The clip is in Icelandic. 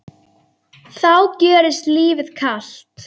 þá gjörist lífið kalt.